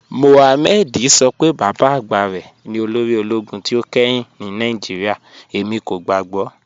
Mọhàmmẹ̀dì sọ pé baba agba rẹ ni olórì ologun tí o kẹ́hìn ni Nigeria, ẹmi kò gbàgbọ̀."